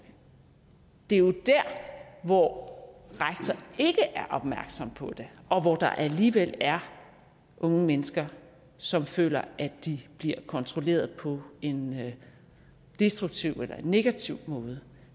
det er jo der hvor rektor ikke er opmærksom på det og hvor der alligevel er unge mennesker som føler at de bliver kontrolleret på en destruktiv eller negativ måde